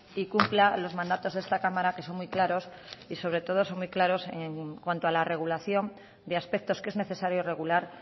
y cumpla los mandatos de esta cámara que son muy claros y sobre todo son muy claros en cuanto a la regulación de aspectos que es necesario regular